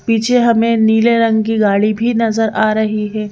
पीछे हमें नीले रंग की गाड़ी भी नजर आ रही है।